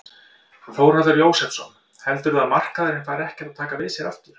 Þórhallur Jósefsson: Heldurðu að markaðurinn fari ekkert að taka við sér aftur?